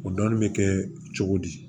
O dɔni bɛ kɛ cogo di